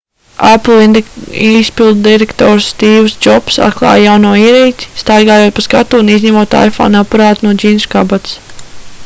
apple izpilddirektors stīvs džobss atklāja jauno ierīci staigājot pa skatuvi un izņemot iphone aparātu no džinsu kabatas